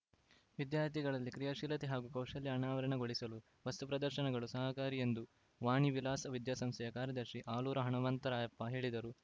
ವಿದ್ಯಾರ್ಥಿಗಳಲ್ಲಿ ಕ್ರಿಯಾಶೀಲತೆ ಹಾಗೂ ಕೌಶಲ್ಯ ಅನಾವರಣಗೊಳಿಸಲು ವಸ್ತು ಪ್ರದರ್ಶನಗಳು ಸಹಕಾರಿ ಎಂದು ವಾಣಿವಿಲಾಸ ವಿದ್ಯಾಸಂಸ್ಥೆಯ ಕಾರ್ಯದರ್ಶಿ ಆಲೂರು ಹನುಮಂತರಾಯಪ್ಪ ಹೇಳಿದರು